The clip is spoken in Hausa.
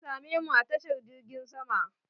Za ta same mu a tashar jirgin sama.